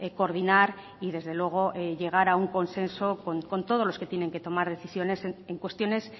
coordinar y desde luego llegar a un consenso con todos los que tienen que tomar decisiones en cuestiones